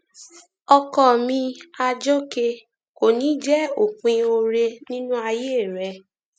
ọkọ mi àjọké kò ní í jẹ òpin oore nínú ayé rẹ